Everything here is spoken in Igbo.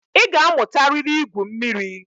Ị ga-amụtarịrị ígwū mmiri.